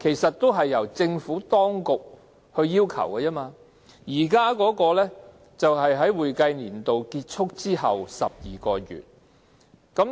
這視乎政府當局的要求，現行規定是會計年度結束後12個月。